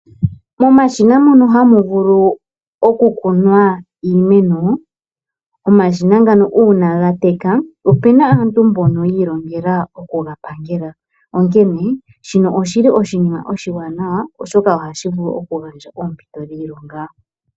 Momashina mono hamu vulu okukunwa iimeno uuna gateka , opuna aantu mbono yi ilonhela okugapangela shino oshi li ,oshinima oshiwanawa oshoka ohashi gandja oompito dhiilonga.